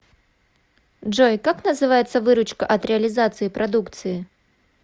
джой как называется выручка от реализации продукции